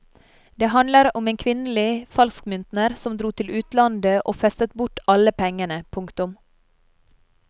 Det handlet om en kvinnelig falskmyntner som dro til utlandet og festet bort alle pengene. punktum